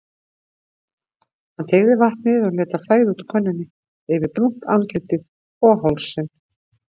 Hann teygaði vatnið og lét það flæða út úr könnunni yfir brúnt andlitið og hálsinn.